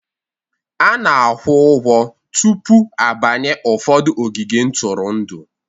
A na-akwụ ụgwọ tupu a banye ụfọdụ ogige ntụrụndụ.